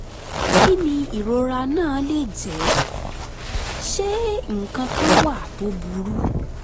kí ni ìrora náà lè jẹ́? ṣé nǹkan kan wà tó burú?